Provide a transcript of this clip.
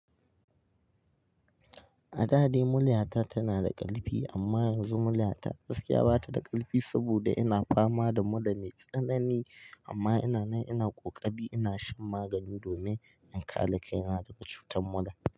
A da dai mulyata tana da ƙarfi amma yanzu mulyata gaskiya ba ta da ƙarfi saboda ina fama da mura mai tsanani amma ina nan ina ƙoƙari ina shan magani domin in kare kaina daga cutar mura.